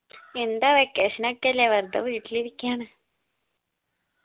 എന്ത് vacation ഒക്കെയല്ലേ വെർതെ വീട്ടിലിരിക്ക്യാണ്‌